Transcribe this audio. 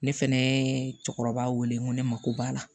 Ne fɛnɛ cɛkɔrɔba wele n ko ne mako b'a la